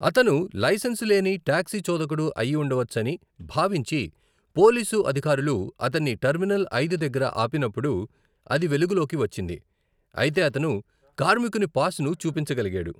అతను లైసెన్సు లేని టాక్సీ చోదకుడు అయి ఉండవచ్చని భావించి పోలీసు అధికారులు అతన్ని టెర్మినల్ ఐదు దగ్గర ఆపినప్పుడు అది వెలుగులోకి వచ్చింది, అయితే అతను కార్మికుని పాస్ను చూపించగలిగాడు.